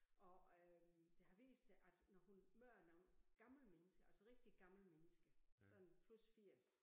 Og øh det har vist sig at når hun møder nogle gamle mennesker altså rigtig gamle mennesker sådan plus 80